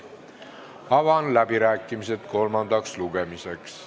Avan läbirääkimised kolmandal lugemisel.